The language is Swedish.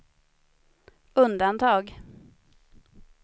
undantag